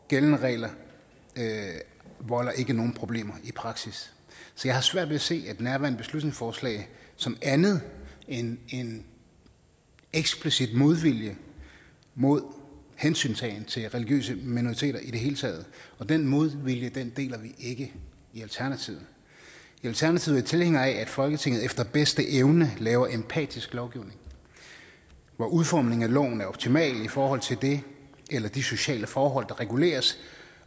gældende regler volder ikke nogen problemer i praksis så jeg har svært ved at se nærværende beslutningsforslag som andet end end eksplicit modvilje mod hensyntagen til religiøse minoriteter i det hele taget og den modvilje deler vi ikke i alternativet i alternativet er vi tilhængere af at folketinget efter bedste evne laver empatisk lovgivning hvor udformningen af loven er optimal i forhold til det eller de sociale forhold der reguleres